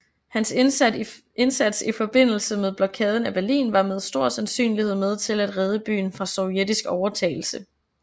Hans indsats i forbindelse med Blokaden af Berlin var med stor sandsynlighed med til at redde byen fra sovjetisk overtagelse